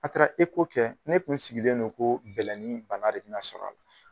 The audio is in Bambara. A taara kɛ, ne tun sigilen don ko bɛlɛnin bana de bɛna sɔr'a la